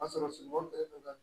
O y'a sɔrɔ sumankuru don ka